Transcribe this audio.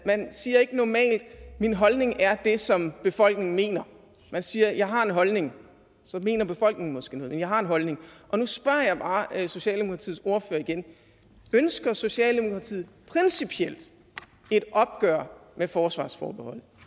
man siger ikke normalt min holdning er det som befolkningen mener man siger jeg har en holdning så mener befolkningen måske noget men man har en holdning nu spørger jeg bare socialdemokratiets ordfører igen ønsker socialdemokratiet principielt et opgør med forsvarsforbeholdet